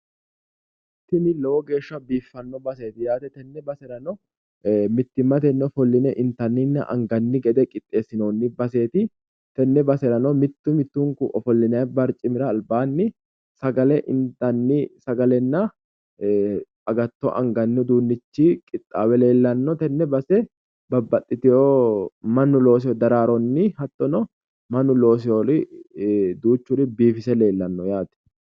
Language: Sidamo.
Tini lowo geeshsha biiffanno baseeti yaate. Tini base baxissanno mittimmatenni ofolline intanninna angannire mitore qixxeessinoonni baseeti yaate. Tenne baserano mittu mittunkura ofollinanni barcimi albaanni sagale intanni sagalenna agatto angannirichi qixxaawe leellanno tenne base babbaxxeewo mannu looseewo daraaronni hattono mannu looseewoori duuchuri biifise leellanno yaate.